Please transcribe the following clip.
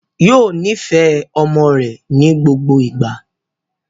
Yóò nifẹ ọmọ rẹ̀ ní gbogbo ìgbà